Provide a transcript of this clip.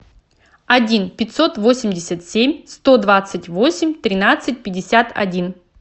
один пятьсот восемьдесят семь сто двадцать восемь тринадцать пятьдесят один